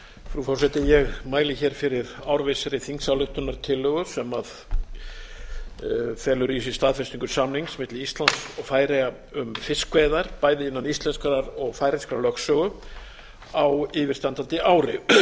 frú forseti ég mæli hér fyrir árvissri þingsályktunartillögu sem felur í sér staðfestingu samnings milli íslands og færeyja um fiskveiðar bæði innan íslenskrar og færeyskrar lögsögu á yfirstandandi ári